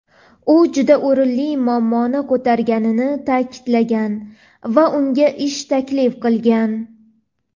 u juda o‘rinli muammoni ko‘targanini ta’kidlagan va unga ish taklif qilgan.